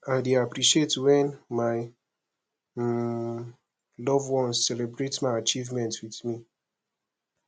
i dey appreciate when my um loved ones celebrate my achievements with me